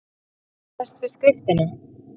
Hann kannaðist við skriftina.